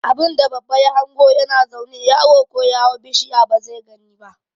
Abunda babba ya hango ya na zaune yaro ko ya hau bishiya ba zai gani ba